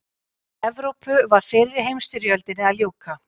Í Evrópu var fyrri heimsstyrjöldinni að ljúka.